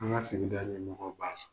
An ka sigida ɲɛmɔgɔw b'a la.